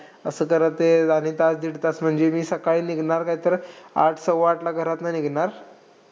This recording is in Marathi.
असं जरा ते. आणि तास-दीड तास म्हणजे मी सकाळी निघणार काय तर आठ - सव्वाआठला घरातून निघणार.